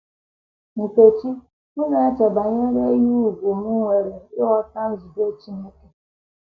Nkechi: M na - eche banyere ihe ùgwù m nwere ịghọta nzube Chineke.